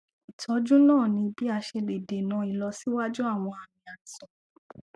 ìtọjú náà ní bí a ṣe lè dènà ìlọsíwájú àwọn àmì àìsàn